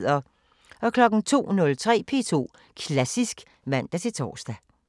02:03: P2 Klassisk (man-tor)